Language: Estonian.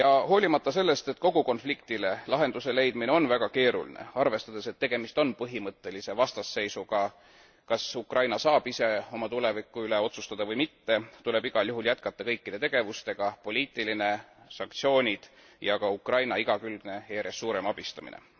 Hoolimata sellest, et kogu konfliktile lahenduse leidmine on väga keeruline, arvestades, et tegemist on põhimõttelise vastasseisuga, kas Ukraina saab ise oma tuleviku üle otsustada või mitte, tuleb igal juhul jätkata kõikide tegevustega, sh poliitiline tegevus, sanktsioonid ja ka Ukraina igakülgne ja järjest suurem abistamine.